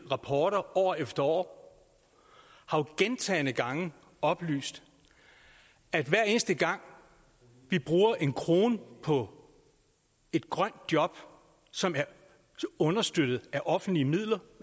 rapporter år efter år har jo gentagne gange oplyst at hver eneste gang vi bruger en krone på et grønt job som er understøttet af offentlige midler